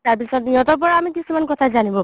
তাৰ পিছৰ সিহতৰ পৰাও আমি কিছুমান জানিব পাৰো